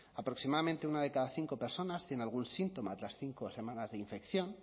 aproximadamente una de cada cinco personas tiene algún síntoma tras cinco semanas de infección